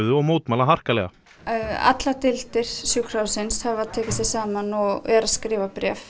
og mótmæla harkalega allar deildir sjúkrahússins hafa tekið sig saman og eru að skrifa bréf